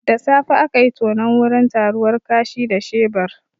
Da safe akayi tonon wurin taruwar kashi da shebur